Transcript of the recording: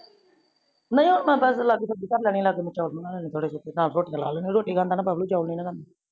ਲੋ ਲਾਗੇ ਸਬਜੀ ਬਾਰ ਲੇਨੀ ਲਾਗੇ ਨੇ ਚੋਲ ਬਣਾ ਲੇਨੇ ਥੋੜੇ ਪੰਜ ਰੋਟੀਆ ਲਾ ਲੇਨਿਆ ਰੋਟੀ ਖਾਂਦਾ ਬਬਲੂ ਚੋਲ ਨੀ ਨਾ ਖਾਂਦਾ